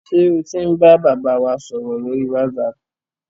Ṣé o ti ń bàbá wa sọ̀rọ̀ lórí wásaapù?